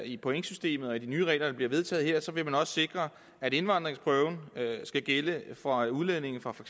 i pointsystemet og i de nye regler der bliver vedtaget her vil man også sikre at indvandringsprøven skal gælde for udlændinge fra for